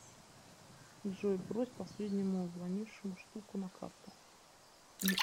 джой брось последнему звонившему штуку на карту